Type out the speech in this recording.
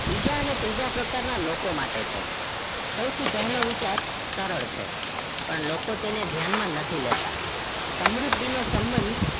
બીજા અને ત્રીજા પ્રકારના લોકો માટે છે સૌથી પહેલો વિચાર સરળ છે પણ લોકો તેને ધ્યાનમાં લેતા નથી લેતા સમૃદ્ધિ નો સબંધ